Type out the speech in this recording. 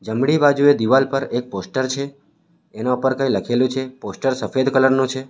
જમણી બાજુએ દિવાલ પર એક પોસ્ટર છે એના પર કંઈ લખેલું છે પોસ્ટર સફેદ કલર નું છે.